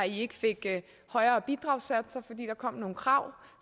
ikke fik højere bidragssatser fordi der kom nogle krav